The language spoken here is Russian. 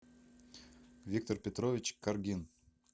виктор петрович каргин